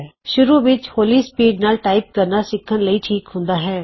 ਸ਼ੁਰੂ ਵਿੱਚ ਹੌਲੀ ਸਪੀਡ ਨਾਲ ਟਾਈਪ ਕਰਨਾ ਸਿੱਖਣ ਲਈ ਠੀਕ ਹੁੰਦਾ ਹੈਂ